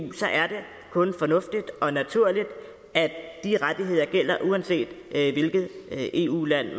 er det kun fornuftigt og naturligt at de rettigheder gælder uanset hvilket eu land